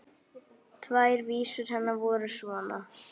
Tvær vísur hennar voru svona